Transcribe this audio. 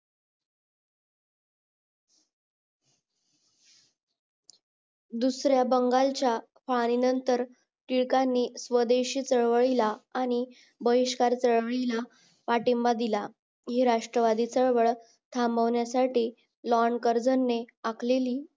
दुसरया बंगालच्या नंतर टिळकांनी स्वदेशी चळवळीला आणि बहिष्कार चळवळीला पाठिंबा दिला हि राष्ट्रवादी चळवळ थांबवण्या साठी लोणंदकर्जनी आखलेली